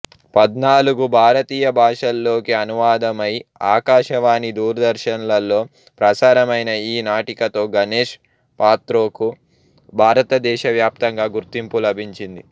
పద్నాలుగు భారతీయ భాషల్లోకి అనువాదమై ఆకాశవాణి దూరదర్శన్ లలో ప్రసారమైన ఈ నాటికతో గణేష్ పాత్రోకు భారతదేశవ్యాప్తంగా గుర్తింపు లభించింది